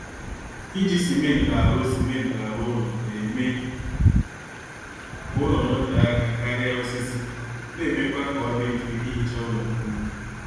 Iji simentị arụ simentị arụ ụlọ na-eme ka ụlọ notee aka karịa osisi na-emekwa kaọdị mfe ihicha ụlọ ọfụma